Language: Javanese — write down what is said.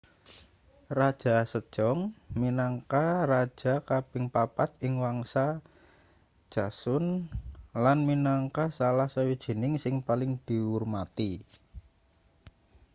raja sejong minangka raja kaping papat ing wangsa joseon lan minangka salah sawijining sing paling diurmati